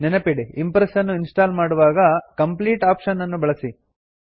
ನೆನಪಿಡಿ ಇಂಪ್ರೆಸ್ ನ್ನು install ಮಾಡುವಾಗ ಕಂಪ್ಲೀಟ್ ಆಪ್ಶನ್ ಅನ್ನು ಬಳಸಿ